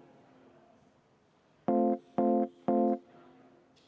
Meile esitati istungi alguses umbusaldusavaldus,